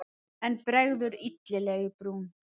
En bregður illilega í brún.